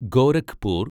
Gorakhpur